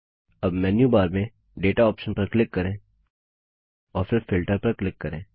अब मेन्यूबार में data option पर क्लिक करें और फिर फिल्टर पर क्लिक करें